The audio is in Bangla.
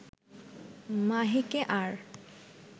মাহিকে আর